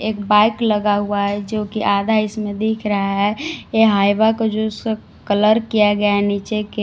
एक बाइक लगा हुआ है जोकि आधा इसमें दिख रहा है ये हाईबा को जो उसे कलर किया गया है नीचे के--